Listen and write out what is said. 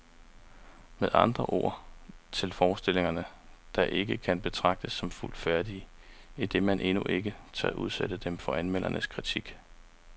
Med andre ord, til forestillinger, der ikke kan betragtes som fuldt færdige, idet man endnu ikke tør udsætte dem for anmeldernes kritik.